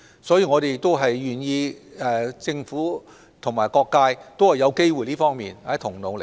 所以，我們願意由政府與各界在這方面一同努力。